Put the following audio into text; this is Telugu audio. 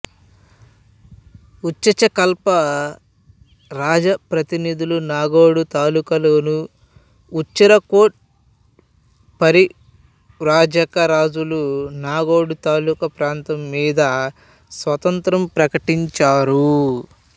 ఉచచకల్ప రాజప్రతినిధులు నాగోడ్ తాలూకాలోని ఉంచెరా కోట్ పరివ్రాజక రాజాలు నాగోడ్ తాలూకా ఈ ప్రాంతంమీద స్వాతంత్ర్యం ప్రకటించారు